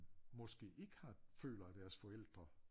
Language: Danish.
Måske ikke har føler at deres forældre